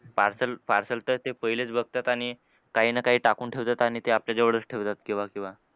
Parcel parcel तर ते पहिलेच बघतात आणि काही ना काही टाकून ठेवतात आणि ते आपल्या जवळच ठेवतात केव्हा केव्हा.